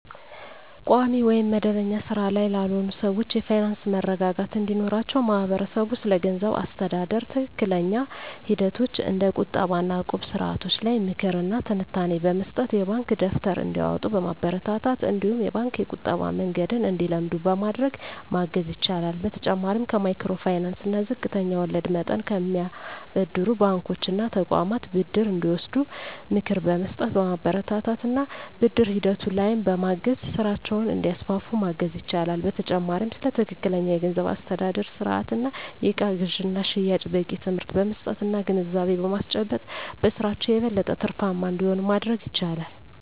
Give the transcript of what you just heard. ቋሚ ወይም መደበኛ ሥራ ላይ ላልሆኑ ሰዎች የፋይናንስ መረጋጋት እንዲኖራቸው ማህበረሰቡ ስለገንዘብ አስተዳደር ትክክለኛ ሂደቶች እንደ ቁጠባ እና እቁብ ስርዓቶች ላይ ምክር እና ትንታኔ በመስጠት፣ የባንክ ደብተር እንዲያወጡ በማበረታታት እነዲሁም የባንክ የቁጠባ መንገድን እንዲለምዱ በማድረግ ማገዝ ይችላል። በተጨማሪም ከማይክሮ ፋይናንስ እና ዝቅተኛ ወለድ መጠን ከሚያበድሩ ባንኮች እና ተቋማት ብድር እንዲወስዱ ምክር በመስጠት፣ በማበረታታት እና ብድር ሂደቱ ላይም በማገዝ ስራቸውን እንዲያስፋፉ ማገዝ ይቻላል። በተጨማሪም ስለ ትክክለኛ የገንዘብ አስተዳደር ስርአት እና የእቃ ግዥና ሽያጭ በቂ ትምህርት በመስጠት እና ግንዛቤ በማስጨበጥ በስራቸው የበለጠ ትርፋማ እንዲሆኑ ማድረግ ይቻላል።